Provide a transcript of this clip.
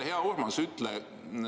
Hea Urmas!